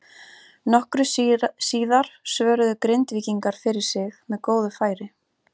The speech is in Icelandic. Nokkru síðar svöruðu Grindvíkingar fyrir sig með góðu færi.